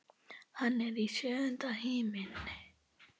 Hann er í sjöunda himni.